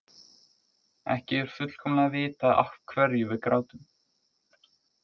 Ekki er fullkomlega vitað af hverju við grátum.